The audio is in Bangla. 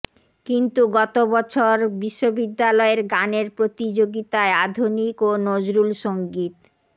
কিন্তু গত বছর বিশ্ববিদ্যালয়ের গানের প্রতিযোগিতায় আধুনিক ও নজরুলসংগীত